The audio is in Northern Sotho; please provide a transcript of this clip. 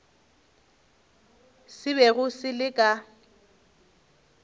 se bego se le ka